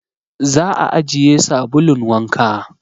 Za a ajiye sabulun wanka